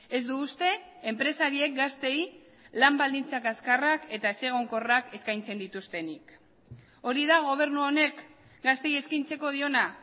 ez du uste enpresariek gazteei lan baldintza kaskarrak eta ezegonkorrak eskaintzen dituztenik hori da gobernu honek gazteei eskaintzeko diona